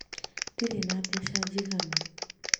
Ndirĩ na mbeca njiganu